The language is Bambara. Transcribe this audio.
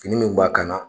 Fini min b'a kan na